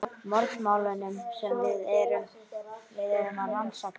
Morðmálunum sem við erum að rannsaka.